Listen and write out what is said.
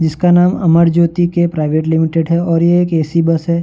जिसका नाम Amar Jyoti K private limited है और ये एक ए.सी. बस है।